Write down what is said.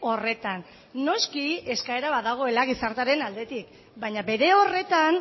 horretan noski eskaera badagoela gizartearen aldetik baina bere horretan